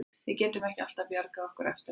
Við getum ekki alltaf bjargað okkur eftir á.